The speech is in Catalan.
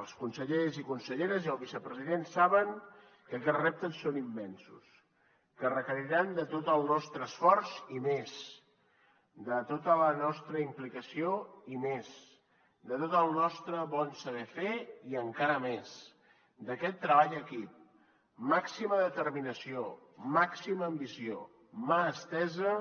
els consellers i conselleres i el vicepresident saben que aquests reptes són immensos que requeriran de tot el nostre esforç i més de tota la nostra implicació i més de tot el nostre bon saber fer i encara més d’aquest treball en equip màxima determinació màxima ambició mà estesa